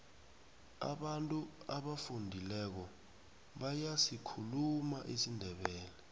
abantu abafundileko bayasikhuluma isindebele